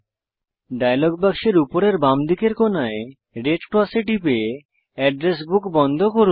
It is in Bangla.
ডায়লগ বাক্সের উপরের বাঁদিকের কোনায় রেড ক্রসে টিপে অ্যাড্রেস বুক বন্ধ করুন